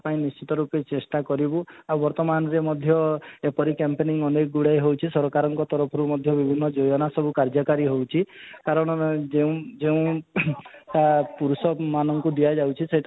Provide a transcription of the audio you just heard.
ପାଇଁ ନିଶ୍ଚିନ୍ତ ରୂପରେ ଚେଷ୍ଟା କରିବୁ ଆଉ ବର୍ତମାନରେ ମଧ୍ୟ ଏପରି camping ଅନେକ ହେଉଛି ସରକାରଙ୍କ ତରଫରୁ ମଧ୍ୟ ବିଭିର୍ନ ଯୋଜନା ସବୁ କାର୍ଯ୍ୟକାରି ହଉଛି କାରଣ ଯେଉଁ ଯେଉଁ ଆଃ ପୁରୁଷ ମାନଙ୍କୁ ଦିଆ ଯାଉଛି